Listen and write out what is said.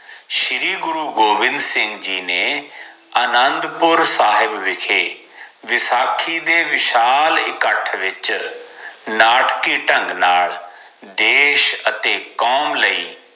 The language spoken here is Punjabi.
ਸ਼੍ਰੀ ਗੁਰੂ ਗੋਵਿੰਦ ਸਿੰਘ ਜੀ ਨੇ ਅਨੰਦਪੁਰ ਸਾਹਿਬ ਵਿਖੇ ਵਿਸਾਖੀ ਦੇ ਵਿਸ਼ਾਲ ਇਕੱਠ ਵਿਚ ਨਾਟਕੀ ਢੰਘ ਨਾਲ ਦੇਸ਼ ਅਤੇ ਕੌਮ ਲਈ